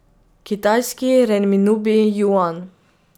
Kitajski renminbi juan.